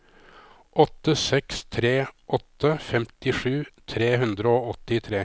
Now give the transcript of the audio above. åtte seks tre åtte femtisju tre hundre og åttitre